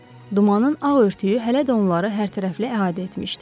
Dumanın ağ örtüyü hələ də onları hərtərəfli əhatə etmişdi.